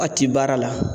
A ti baara la